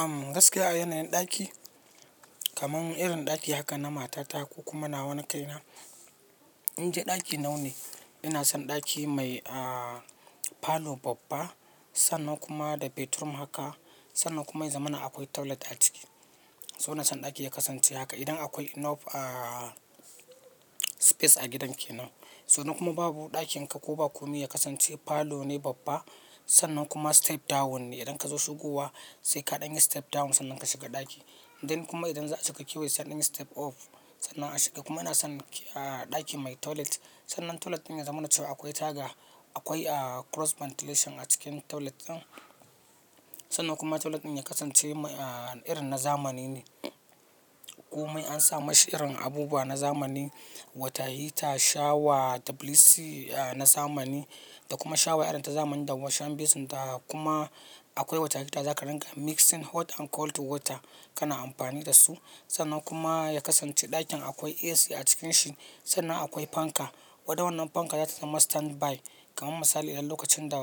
Am gaskiya a yanayin ɗaki kaman irin ɗaki haka na matata ko kuma na wana kai na. In de ɗaki naune ina son ɗaki mai aa palo babba sannan kuma da bedroom haka sannan kuma ya zamana akwai toilet a ciki. So ina son ɗaki ya kasance haka idan akwai enough aa space a gidan kenan. Sannan kuma babu ɗakin ka ko ba kome ya kasance palone babba, sannan kuma step down ne idan ka zo shigowa sai ka ɗaga step down sannan ka shiga ɗaki. Inda kuma idan za a cika kewaye sani step up sannan a shiga kuma ina son a ɗaki mai toilet sannan toilet ɗin ya zamanancewa akwai taga akwai aa cross ventilation a cikin toilet ɗin. Sannan kuma toilet ɗin ya kasance mai irin na zamani ne. Komai an sa mashi irin abubuwa na zamani, water heater, shawa, tabilesi na zamani da kuma shawa irin ta zamani da washing basin ta kuma akwai water heater za ka riga mixing hot and cold water kana amfani da su. Sannan kuma ya kasance ɗakin akwai AC a cikin shi, sannan akwai fanka. Wandawannan fanka zata zama standby kaman misali idan lokacin da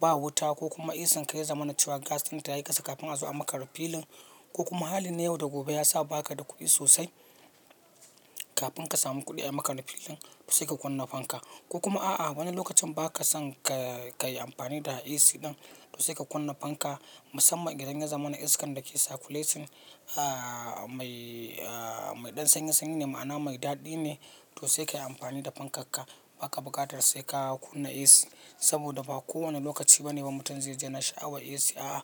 ba wuta ko kuma AC kan ya zamanace wa gas ɗinta yayi ƙasa kafin a zo a maka refiling ko kuma halin yau da gobe ya sa baka da kuɗi sosai kafin ka samu kuɗi a makare filing to sai ka kunna fanka. Ko kuma a'a wani lokacin baka son ka-kayi amfani da AC ɗin to sai ka kunna fanka. Musamman idan ya zamana iskan dake circulating aa mai aa mai ɗan sanyi sanyi ne ma'ana mai daɗi ne to sai ka yi amfani da fanka ka. Baka buƙatar saika kunna AC saboda ba kowane lokaci bane mutum zaiji yana sha'awar AC. A'a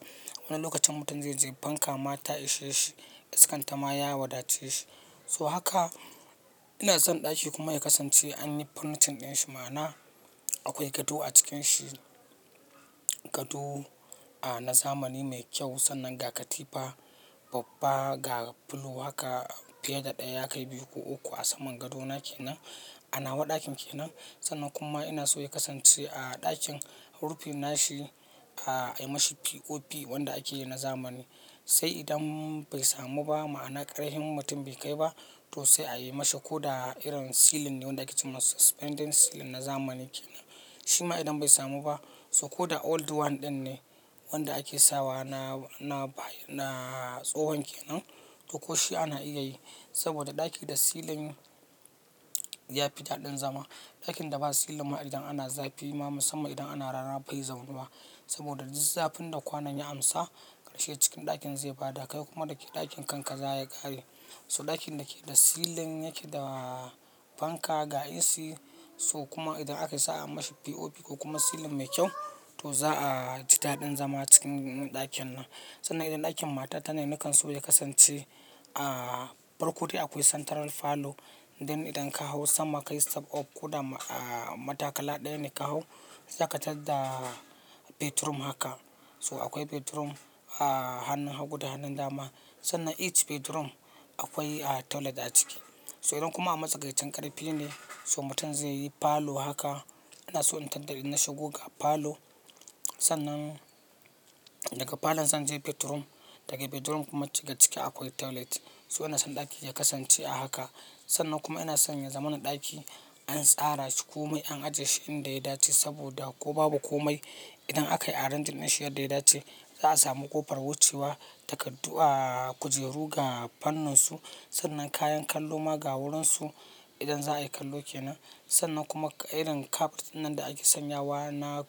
wani lokacin mutum zai ji fanka ma ta isashe shi, iskan ta ma ya wadace shi. So haka ina son ɗaki kuma ya kasance an yi furnishing ɗin shi ma'ana akwai gado a cikin shi. Gado a na zamani mai kyau sannan ga katifa babba ga pillow haka fiyeda ɗaya yakai biyu ko uku a saman gadona kenan a nawa ɗakin kenan. Sannan kuma ina so ya kasance a ɗakin rufin nashi a yi ma shi POP wanda ake yi na zamani. Sai idan bai samu ba ma'ana ƙarfin mutum bai kai ba to sai a yi ma shi ko da irin ceiling ne wanda ake ce ma suspended ceiling na zamani kenan. Shi ma idan bai samu ba to ko da old one ɗin ne wanda ake sawa na-na ba na tsohon kenan to ko shi ana iya yi saboda ɗaki da ceiling ya fi daɗin zama. Ɗakin da ba ceiling ba idan ana zafi ma musamman idan ana rana bai zaunu wa saboda duk zafin da kwanon ya amsa ƙarshe cikin ɗakin zai bada kai kuma da ke ɗakin kankaza ya ƙare. So ɗakin da ke da ceiling yake da fanka ga AC so kuma idan aka sa'a anma shi POP ko kuma ceiling mai kyau to za a ji daɗin zama cikin ɗakin nan. Sannan idan ɗakin mata ta ne nakan so ya kasance a farkodai akwai central parlour. Inda idan ka hau sama ka yi step up ko da aa matakala ɗaya ne ka hau za ka tadda bedroom haka. To akwai bedroom a hannun hagu da hannun dama, sannan each bedroom akwai toilet aciki, so idan kuma a matsakaicin ƙarfine so mutum zaiyi parlour haka inason in tadda in nashiga ga parlour sannan. Daga parlour zan je bedroom daga bedroom kuma daga ciki akwai toilet. So ina son ɗaki ya kasance a haka sannan kuma ina son ya zamana ɗaki an tsara shi komai an ajiye shi inda ya dace saboda ko babu komai idan akayi arranging ɗinshi yanda yadace za'a samu ƙofar wucewa takardu ahh, kujeru ga fanninsu sannan kayan kalloma ga wurinsu idan za'ayi kallo kenan. Sannan kuma irin carpet ɗin nan da ake sanyawa na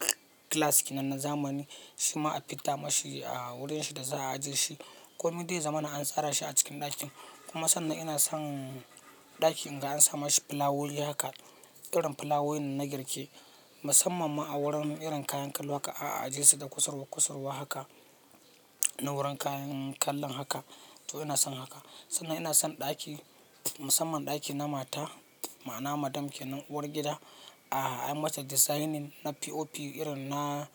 glass kenan na zamani shi ma a fi dda ma shi a wurin shi da za a ajiye shi. Komai dai zamana an tsara shi a cikin ɗakin kuma sannan ina son ɗaki in ga an sa ma shi pilawoli haka irin pilawolin na girke musamman ma a wurin irin kayan kallo haka a ajiye su da kusarwa kusarwa haka na wurin kayan kallon haka to ina son haka. Sannan ina son ɗaki musamman ɗaki na mata ma'ana madam kenan uwar gida a a yi ma shi designing na POP irin na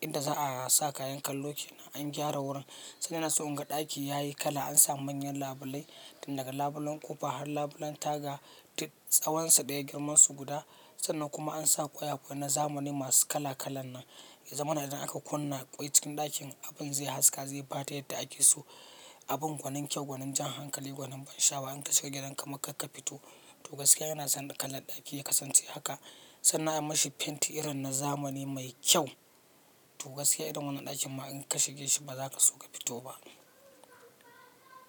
inda za a sa kayan kallo kenan an gyara wurin. Sannan ina so in ga ɗaki yayi kala an sa manyan labulai, tundaga labulen ƙofa har labulen taga duk tsawonsa ɗaya girman su guda. Sannan kuma an sa ƙwayaƙwaye na zamani masu kala kalan nan. Zamanin idan aka kunna ƙwai cikin ɗakin abin zai haska zai bada yadda ake so. Abin gwanin kyau, gwanin jan hankali, gwanin ban sha'awa in ka shiga gidanka marka ka fito to gaskiya yana son kalan ɗaki ya kasance haka. Sannan a yi ma shi fenti irin na zamani mai kyau to gaskiya irin wannan ɗakin ma in ka shige shi ba za ka so ka fito ba.